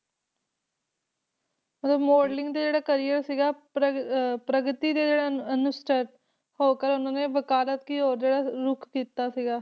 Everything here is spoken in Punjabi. ਮਤਲਬ modeling ਦਾ ਜਿਹੜਾ career ਸੀਗਾ ਪ੍ਰ~ ਅਹ ਪ੍ਰਗਤੀ ਦੇ ਜਿਹੜਾ ਰੁੱਖ ਕੀਤਾ ਸੀਗਾ,